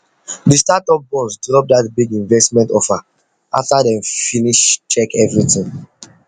the startup boss drop that big investment offer after dem finish check everything